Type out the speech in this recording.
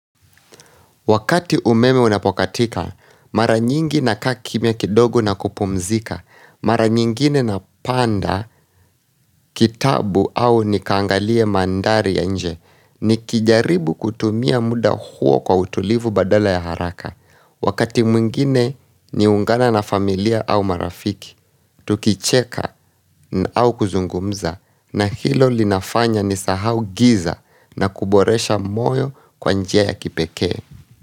Wakati umeme unapokatika, mara nyingi na kakimya kidogo na kupumzika, mara nyingine na panda, kitabu au nikangalie mandari ya nje, ni kijaribu kutumia muda huo kwa utulivu badala ya haraka. Wakati mwingine ni ungana na familia au marafiki, tukicheka au kuzungumza na hilo linafanya ni sahau giza na kuboresha moyo kwa njia ya kipekee.